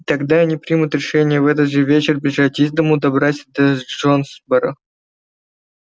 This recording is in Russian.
и тогда они примут решение в этот же вечер бежать из дому добраться до джонсборо